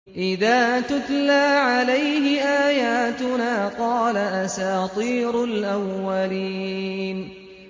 إِذَا تُتْلَىٰ عَلَيْهِ آيَاتُنَا قَالَ أَسَاطِيرُ الْأَوَّلِينَ